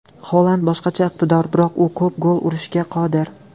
Holand boshqacha iqtidor, biroq u ko‘p gol urishga qodir.